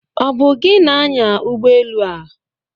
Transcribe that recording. Ọ bụ gị na-anya ụgbọ elụ a?